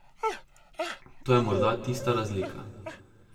To je morda tista razlika.